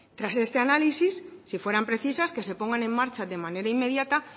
tras este análisis si fueran precisas que se pongan en marcha de manera inmediata